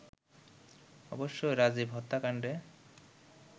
অবশ্য রাজীব হত্যাকাণ্ডে